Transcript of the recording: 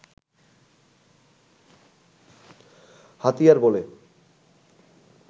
হাতিয়ার বলে